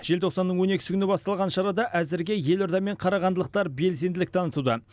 желтоқсанның он екісі күні басталған шарада әзірге елорда мен қарағандылықтар белсенділік танытуда